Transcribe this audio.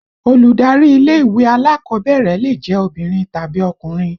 Olùdarí ilé ìwé alákọ̀ọ́bẹ̀rẹ̀ lè jẹ́ obìnrin tàbí ọkùnrin